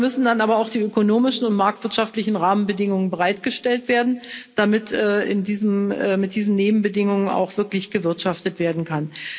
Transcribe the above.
Dafür müssen dann aber auch die ökonomischen und marktwirtschaftlichen Rahmenbedingungen bereitgestellt werden, damit mit diesen Nebenbedingungen auch wirklich gewirtschaftet werden kann.